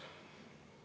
…